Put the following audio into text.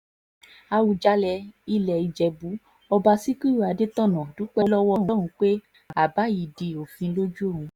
àwùjalè ilẹ̀ ìjẹ̀bù ọba síkírù adẹ́tọ̀nà dúpẹ́ lọ́wọ́ ọlọ́run pé àbá yìí di òfin lójú òun